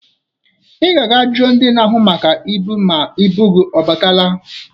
Ị ga-aga jụọ ndị na-ahụ maka ibu ma ibu gị ọ batala.